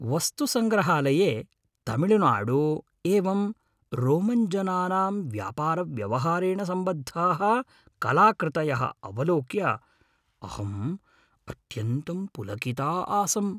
वस्तुसङ्ग्रहालये तमिळुनाडु एवं रोमन्जनानां व्यापारव्यवहारेण सम्बद्धाः कलाकृतयः अवलोक्य अहम् अत्यन्तं पुलकिता आसम्।